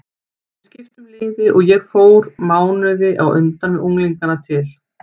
Við skiptum liði og ég fór mánuði á undan með unglingana til